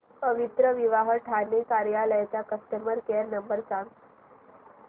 पवित्रविवाह ठाणे कार्यालय चा customer care number सांग